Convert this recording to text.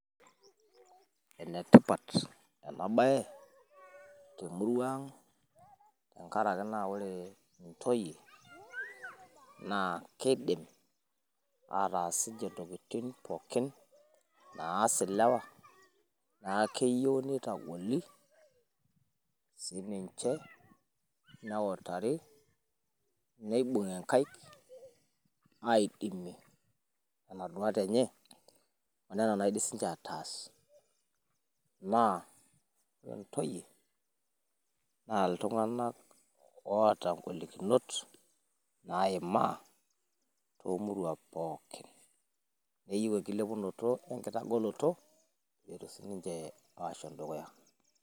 ene tipat ena bae temurua ang. tenkaraki ore ntoyie kidim aatas intokitin pookin naas ilewa, neeku keyieu, nitagoli sii ninche neutari, nibung'i nkaik aidimie nena duat enye onena naidim sii ninche aataas. neeku ore ntoyie, naa iltunganak oota golikinot naimaa toomuruan pookin. keyieu inkilepunoto we nkitagoloto.